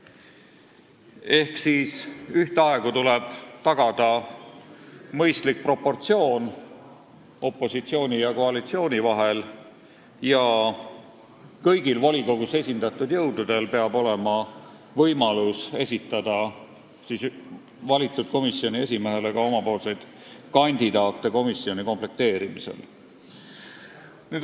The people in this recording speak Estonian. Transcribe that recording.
Ehk ühtaegu tuleb tagada opositsiooni ja koalitsiooni mõistlik proportsioon ja kõigil volikogus esindatud jõududel peab olema võimalus komisjoni komplekteerimisel esitada valitud komisjoni esimehele oma kandidaate.